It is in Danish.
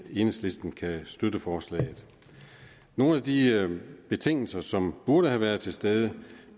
enhedslisten kan støtte forslaget nogle af de betingelser som burde have været til stede